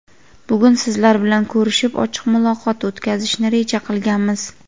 bugun sizlar bilan ko‘rishib ochiq muloqot o‘tkazishni reja qilganmiz.